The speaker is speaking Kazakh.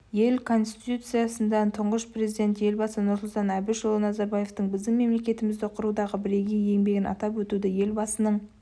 ел конституциясында тұңғыш президент елбасы нұрсұлтан әбішұлы назарбаевтың біздің мемлекетімізді құрудағы бірегей еңбегін атап өтуді елбасының